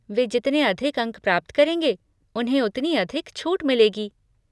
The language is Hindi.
वे जितने अधिक अंक प्राप्त करेंगे, उन्हें उतनी अधिक छूट मिलेगी।